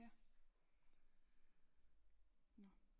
Ja nå